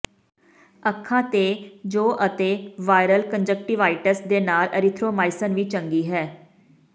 ਅੱਖਾਂ ਤੇ ਜੌਂ ਅਤੇ ਵਾਇਰਲ ਕੰਨਜਕਟਿਵਾਇਟਿਸ ਦੇ ਨਾਲ ਏਰੀਥਰੋਮਾਈਸਿਨ ਵੀ ਚੰਗੀ ਹੈ